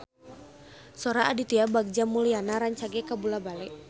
Sora Aditya Bagja Mulyana rancage kabula-bale